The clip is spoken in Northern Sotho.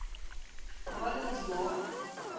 go ba le modumo wa